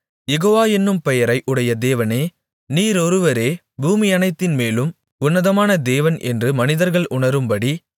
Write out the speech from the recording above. யேகோவா என்னும் பெயரை உடைய தேவனே நீர் ஒருவரே பூமியனைத்தின்மேலும் உன்னதமான தேவன் என்று மனிதர்கள் உணரும்படி